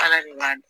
Ala de b'a dun